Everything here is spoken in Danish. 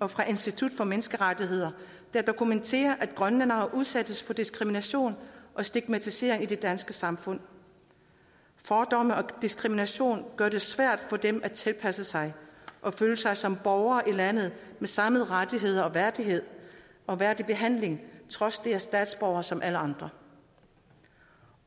og fra institut for menneskerettigheder der dokumenterer at grønlændere udsættes for diskrimination og stigmatisering i det danske samfund fordomme og diskrimination gør det svært for dem at tilpasse sig og føle sig som borgere i landet med samme rettigheder og værdig og værdig behandling trods det er statsborgere som alle andre